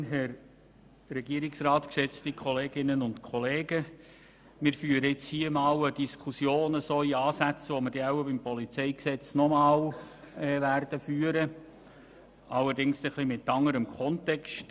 Wir führen hier ansatzweise eine Diskussion, wie wir sie wahrscheinlich nochmals im Rahmen der Beratung des PolG führen werden, allerdings mit etwas anderem Kontext.